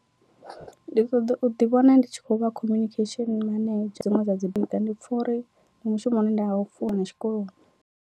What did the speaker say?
Ndi ṱoḓa u ḓi vhona ndi tshi khou vha communication manedzha dziṅwe dza dzi bika ndi pfha uri ndi mushumo une nda u funa tshikoloni.